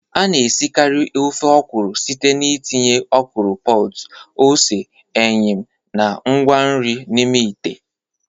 A na-esikarị ofe ọkwụrụ site n'ịtinye ọkwụrụ pods, ose, eyịm, na ngwa nri n'ime ite.